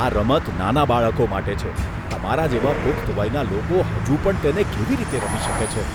આ રમત નાના બાળકો માટે છે. તમારા જેવા પુખ્ત વયના લોકો હજુ પણ તેને કેવી રીતે રમી શકે છે?